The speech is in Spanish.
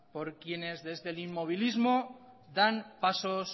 por quienes desde el inmovilismo dan pasos